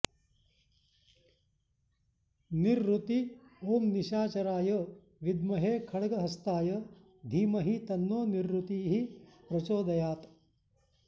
निरृति ॐ निशाचराय विद्महे खड्गहस्ताय धीमहि तन्नो निरृतिः प्रचोदयात्